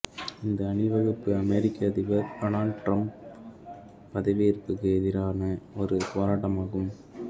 இந்த அணிவகுப்பு அமெரிக்க அதிபர் டொனால்ட் டிரம்பின் பதவியேற்புக்கு எதிரான ஒரு போராட்டமாகும்